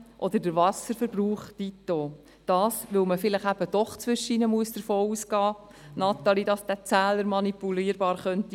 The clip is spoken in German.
Dies, Natalie Imboden, weil man vielleicht doch zwischendurch davon ausgehen muss, dass der Zähler manipulierbar sein könnte.